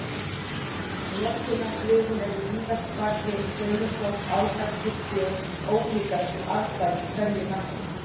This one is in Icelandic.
Notkunarsviðin eru víðast hvar hin sömu þótt áherslur séu ólíkar eftir aðstæðum í hverju landi.